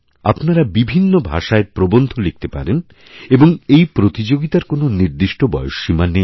আপনারা বিভিন্ন ভাষায় প্রবন্ধ লিখতে পারেন এবং এই প্রতিযোগিতার কোনওনির্দিষ্ট বয়সসীমা নেই